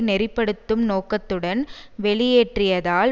நெறி படுத்தும் நோக்கத்துடனும் வெளியேற்றத்தால்